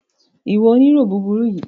Ìwọ onírọ́ burúkú yìí!